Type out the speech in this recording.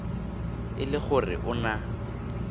e le gore o na